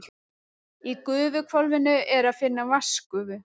Í gufuhvolfinu er að finna vatnsgufu.